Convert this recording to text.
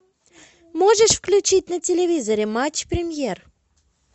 можешь включить на телевизоре матч премьер